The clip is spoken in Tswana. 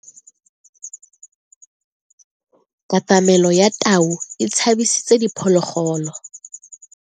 Katamelo ya tau e tshabisitse diphologolo.